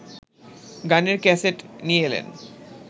গানের ক্যাসেট নিয়ে এলেন